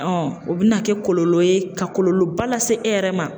o bɛna kɛ kɔlɔlɔ ye, ka kɔlɔlɔ ba lase e yɛrɛ ma.